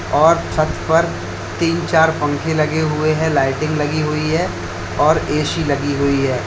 और छत पर तीन चार पंखे लगे हुए हैं लाइटिंग लगी हुई है और ए_सी लगी हुई है।